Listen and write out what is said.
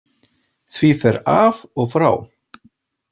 Því fer af og frá.